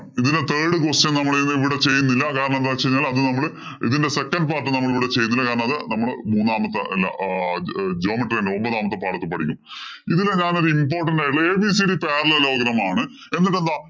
ഇതിലെ third question നമ്മളിവിടെ ചെയ്യുന്നില്ല. കാരണം എന്തു വച്ചുകഴിഞ്ഞാല്‍ അത് നമ്മള് ഇതിന്‍റെ second part നമ്മള് ഇവിടെ ചെയ്യുന്നില്ല. കാരണം, അത് മൂന്നാമത്തെ അല്ല geometry യിലെ ഒമ്പതാമത്തെ പാഠത്തില്‍ പഠിക്കും. ഇതില് ഞാനൊരു important ആയിട്ടുള്ള parallelogram ആണ്.